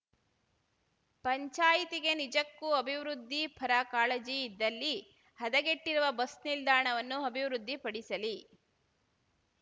ಪಂಚಾಯಿತಿಗೆ ನಿಜಕ್ಕೂ ಅಭಿವೃದ್ಧಿ ಪರ ಕಾಳಜಿ ಇದ್ದಲ್ಲಿ ಹದಗೆಟ್ಟಿರುವ ಬಸ್‌ ನಿಲ್ದಾಣವನ್ನು ಅಭಿವೃದ್ಧಿ ಪಡಿಸಲಿ